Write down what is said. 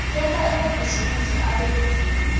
tenta emabhizinisi abe sedvute